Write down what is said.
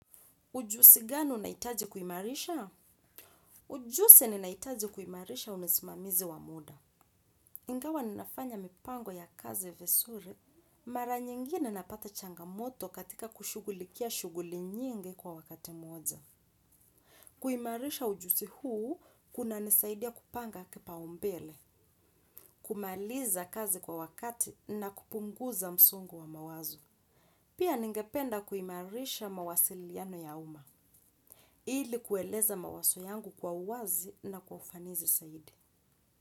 Ujuzi gani unahitaji kuimarisha? Ujuzi ninahitaji kuimarisha ni usimamizi wa muda. Ingawa ninafanya mipango ya kazi vizuri. Mara nyingine napata changamoto katika kushughulikia shughuli nyingi kwa wakati moja. Kuimarisha ujuzi huu kunanisaidia kupanga kipaumbele kumaliza kazi kwa wakati na kupunguza msongo wa mawazo. Pia ningependa kuimarisha mawasiliano ya umma. Ili kueleza mawazo yangu kwa uwazi na kwa ufanisi zaidi.